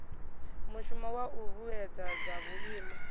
mushumo wa u vhuedzedza vhuimo